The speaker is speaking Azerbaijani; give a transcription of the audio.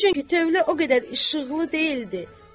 Çünki tövlə o qədər işıqlı deyildi,